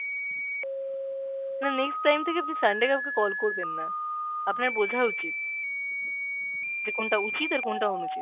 না next time থেকে আপনি Sunday কাওকে call করবেন না। আপনার বোঝা উচিত, যে কোনটা উচিত আর কোনটা অনুচিত।